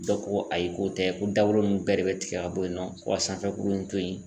Dɔ ko ko ayi k'o tɛ ko dagolo nunnu bɛɛ de be tigɛ ka bɔ yen nɔ , ko ka sanfɛ kurun in to yen.